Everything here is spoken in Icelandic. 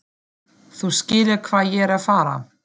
Þú skilur hvað ég er að fara.